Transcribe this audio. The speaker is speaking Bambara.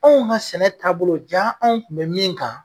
Anw ka sɛnɛ taabolo jaa anw tun bɛ min kan.